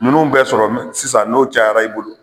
Minnu bɛ sɔrɔ sisan n'o cayara i bolo.